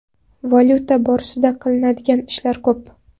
Valyuta borasida qilinadigan ishlar ko‘p.